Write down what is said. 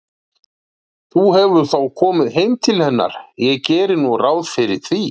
Þú hefur þó komið heim til hennar, ég geri nú ráð fyrir því.